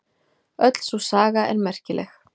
Öll sú saga er merkileg.